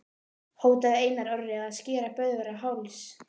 Hótaði Einar Orri að skera Böðvar á háls?